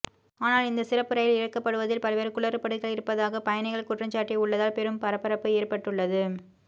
ஆனால் இந்த சிறப்பு ரயில் இயக்கப்படுவதில் பல்வேறு குளறுபடிகள் இருப்பதாக பயணிகள் குற்றஞ்சாட்டி உள்ளதால் பெரும் பரபரப்பு ஏற்பட்டுள்ளது